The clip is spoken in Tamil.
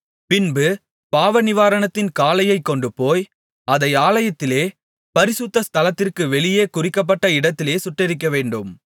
பின்பு பாவநிவாரணத்தின் காளையைக் கொண்டுபோய் அதை ஆலயத்திலே பரிசுத்த ஸ்தலத்திற்கு வெளியே குறிக்கப்பட்ட இடத்திலே சுட்டெரிக்கவேண்டும்